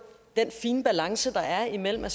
den fine grænse der er imellem at